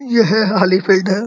यह खाली फिल्ड है।